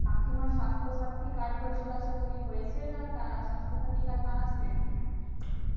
কাকিমার সাস্থ সাথী card হয়েছিল আশাকরি হয়েছে না সাস্থ সাথী card বানাসনি